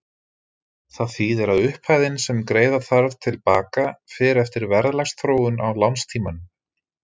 Það þýðir að upphæðin sem greiða þarf til baka fer eftir verðlagsþróun á lánstímanum.